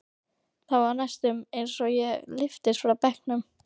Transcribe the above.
Það var næstum eins og ég lyftist frá bekknum.